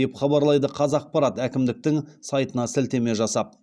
деп хабарлайды қазақпарат әкімдіктің сайтына сілтеме жасап